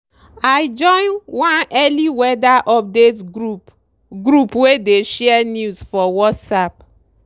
i join one early weather update group group wey dey share news for whatsapp.